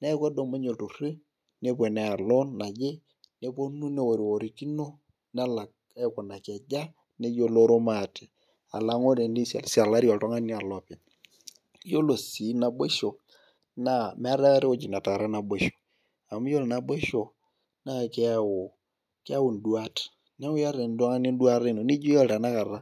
neeku kedumunye iltururi nepuo, neyau loan naje nepuonu, neorikirikino. nelak aikunaki aja. neyioloro maate. alang'u eni sialisialari oltungani alo openly. iyiolo sii naboisho naa meetae aikata ewueji netara naboisho. amu iyiolo naboisho naa keyau keyau duat, neeku iyata oltungani eduata Ino. nijo iyiolo tena kata